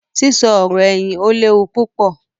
sísọ ọ̀rọ̀-ẹ̀yìn ó lé wu púpọ̀.